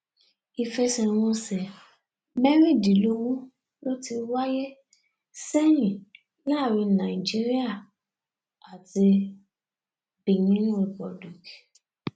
ìfẹsẹwọnsẹ mẹrìndínlógún ló ti wáyé sẹyìn láàrin nàìjíríà àti benin republic